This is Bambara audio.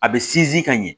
A bɛ sinsin ka ɲɛ